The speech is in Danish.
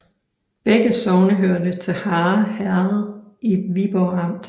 Begge sogne hørte til Harre Herred i Viborg Amt